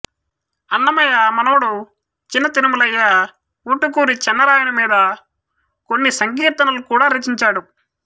అన్నమయ్య మనవడు చినతిరుమలయ్య ఊటుకూరి చెన్నరాయని మీద కొన్ని సంకీర్తనలు కూడా రచించాడు